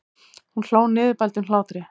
Hún hló niðurbældum hlátri.